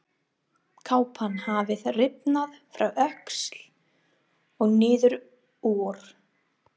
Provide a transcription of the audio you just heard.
Kápan hafði rifnað frá öxl og niður úr.